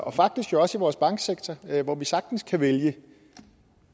og faktisk jo også i vores banksektor hvor vi sagtens kan vælge